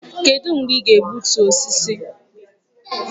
Kedụ mgbe ị ga-egbutu osisi?